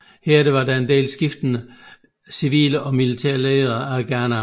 Herefter var der en del skiftende civile og militære ledere af Ghana